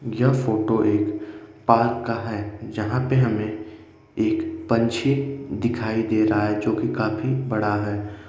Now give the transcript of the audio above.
यह फोटो एक पार्क का है। जहाँ पे हमें एक पंछी दिखाई दे रहा है जोकि काफी बड़ा है।